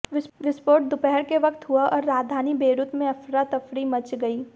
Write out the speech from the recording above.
विस्फोट दोपहर के वक्त हुआ और राजधानी बेरूत में अफरातफरी मच गई